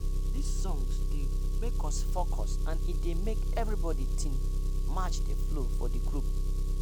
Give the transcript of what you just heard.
this songs dey make us focus and e dey make every tin match the flow for the group.